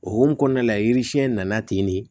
O hokumu kɔnɔna la yiri siɲɛ nana ten de